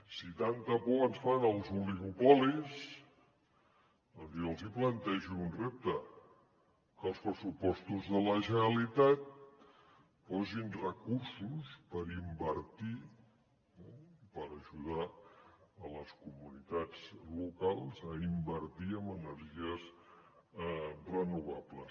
si tanta por ens fan els oligopolis doncs jo els plantejo un repte que als pressupostos de la generalitat hi posin recursos per invertir eh per ajudar les comunitats locals a invertir en energies renovables